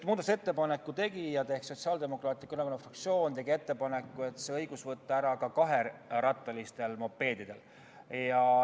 Muudatusettepaneku tegija ehk Sotsiaaldemokraatliku Erakonna fraktsioon tegi ettepaneku võtta see õigus ära ka kaherattalistelt mopeedidelt.